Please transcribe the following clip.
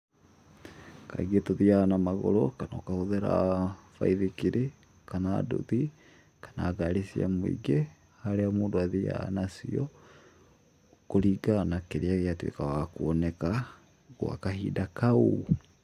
Kaingĩ tũthiaga na magũrũ, kana ũkahũthĩra baithikiri, kana nduthi, kana ngari cia mũingĩ, harĩa mũndũ athiaga nacio kũringana na kĩrĩa gĩatuĩka gĩa kuoneka, gwa kahinda kau.